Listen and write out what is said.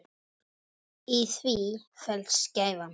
Í því felst gæfan.